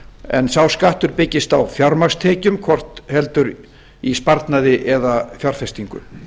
en sá skattur byggist á fjármagnstekjum hvort heldur er í sparnaði eða fjárfestingu